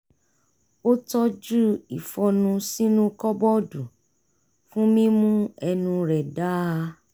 ó tọju ìfọ́nú sínú kọ́bọ́ọ̀dù fún mímú ẹnu rẹ̀ dáa